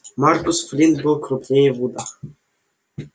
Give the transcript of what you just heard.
маркус флинт был крупнее вуда